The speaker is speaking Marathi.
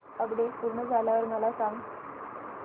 अपडेट पूर्ण झाल्यावर मला सांग